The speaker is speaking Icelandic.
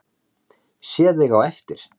Sé þig á eftir.